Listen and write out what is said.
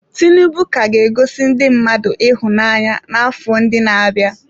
Tinubu ka ga-egosi ndị mmadụ ịhụnanya n’afọ ndị na-abịa.